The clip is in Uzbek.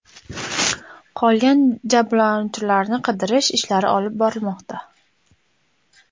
Qolgan jabrlanuvchilarni qidirish ishlari olib borilmoqda.